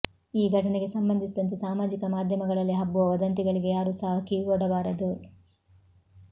ಈ ಘಟನೆಗೆ ಸಂಬಂಧಿಸಿದಂತೆ ಸಾಮಾಜಿಕ ಮಾಧ್ಯಮಗಳಲ್ಲಿ ಹಬ್ಬುವ ವದಂತಿಗಳಿಗೆ ಯಾರೂ ಸಹ ಕಿವಿಗೊಡಬಾರದು